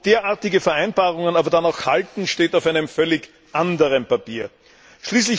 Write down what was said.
Ob derartige Vereinbarungen aber dann auch halten, steht auf einem völlig anderen Blatt.